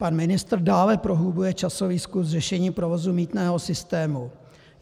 Pan ministr dále prohlubuje časový skluz řešení provozu mýtného systému.